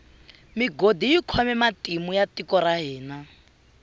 migodi yi khome matimu ya tiko ra hina